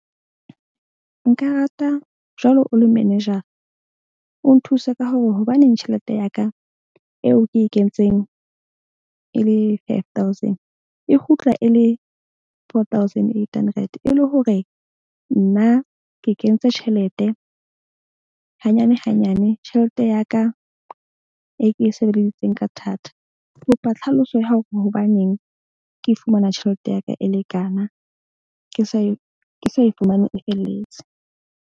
Nka rata jwalo, o le manager o nthuse ka hore hobaneng tjhelete ya ka eo ke e kentseng e le five thousand e kgutla e le four thousand eight hundred. E le hore nna ke kentse tjhelete hanyane hanyane, tjhelete ya ka e ke e sebeleditseng ka thata. Ke kopa tlhaloso ya hore hobaneng ke fumana tjhelete ya ka e le kana ke sa e fumane e felletse.